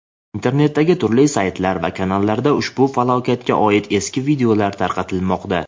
Internetdagi turli saytlar va kanallarda ushbu falokatga oid eski videolar tarqatilmoqda.